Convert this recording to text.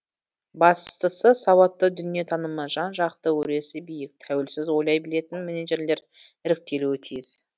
бастысы сауатты дүниетанымы жан жақты өресі биік тәуелсіз ойлай білетін менеджерлер іріктелуі тиіс